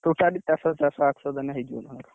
Totally ଚାରିଶହ ଚାରିଶହ ଆଠଶହ ଦେଲେ ହେଇଯିବ। ତାଙ୍କର